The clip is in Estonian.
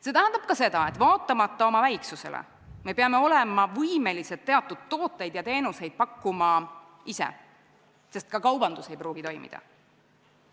See tähendab seda, et vaatamata oma väiksusele me peame olema võimelised teatud tooteid ja teenuseid pakkuma ise, sest tavakaubandus ei pruugi toimida.